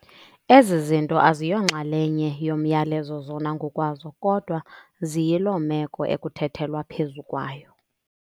Ezi zinto aziyonxalenye yomyalezo zona ngokwazo, kodwa ziyiloo meko ekuthethethelwa phezu kwayo.